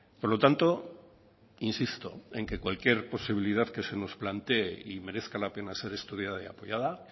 por lo tanto insisto en que cualquier posibilidad que se nos plantee y merezca la pena ser estudiada y apoyada